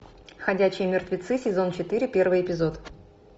ходячие мертвецы сезон четыре первый эпизод